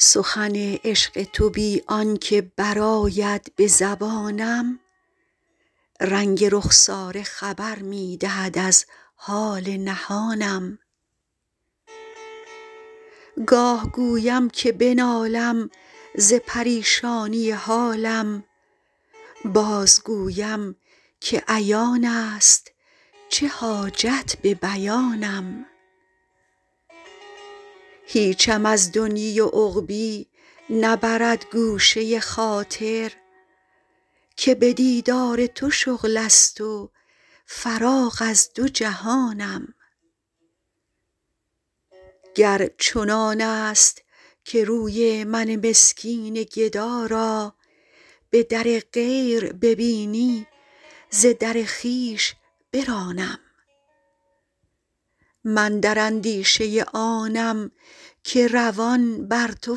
سخن عشق تو بی آن که برآید به زبانم رنگ رخساره خبر می دهد از حال نهانم گاه گویم که بنالم ز پریشانی حالم بازگویم که عیان است چه حاجت به بیانم هیچم از دنیی و عقبیٰ نبرد گوشه خاطر که به دیدار تو شغل است و فراغ از دو جهانم گر چنان است که روی من مسکین گدا را به در غیر ببینی ز در خویش برانم من در اندیشه آنم که روان بر تو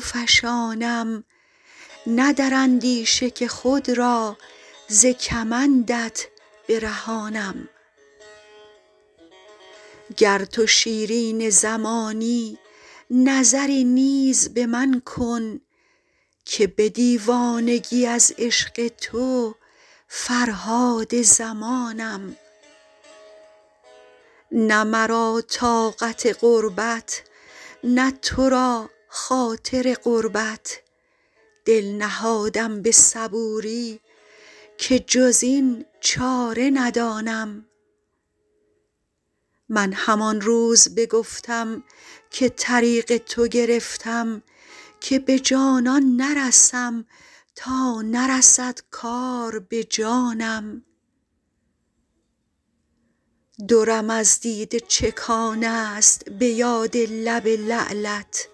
فشانم نه در اندیشه که خود را ز کمندت برهانم گر تو شیرین زمانی نظری نیز به من کن که به دیوانگی از عشق تو فرهاد زمانم نه مرا طاقت غربت نه تو را خاطر قربت دل نهادم به صبوری که جز این چاره ندانم من همان روز بگفتم که طریق تو گرفتم که به جانان نرسم تا نرسد کار به جانم درم از دیده چکان است به یاد لب لعلت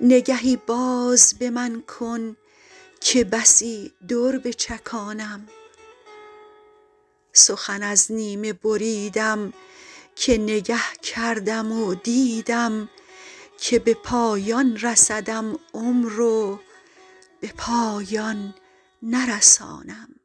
نگهی باز به من کن که بسی در بچکانم سخن از نیمه بریدم که نگه کردم و دیدم که به پایان رسدم عمر و به پایان نرسانم